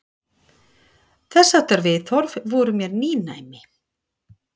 Þessháttar viðhorf voru mér nýnæmi.